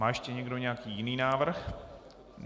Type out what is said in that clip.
Má ještě někdo nějaký jiný návrh?